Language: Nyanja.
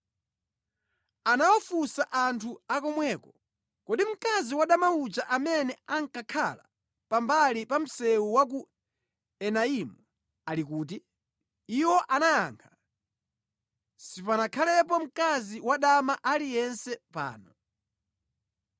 Anawafunsa anthu a komweko, “Kodi mkazi wadama uja amene ankakhala pambali pa msewu wa ku Enaimu, ali kuti?” Iwo anayankha, “Sipanakhalepo mkazi wa dama aliyense pano.”